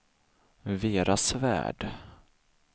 Vera Svärd